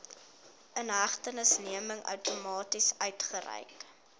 inhegtenisneming outomaties uitgereik